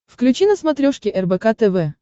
включи на смотрешке рбк тв